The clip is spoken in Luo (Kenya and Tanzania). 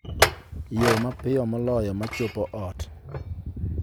yo mapiyo moloyo ma chopo ot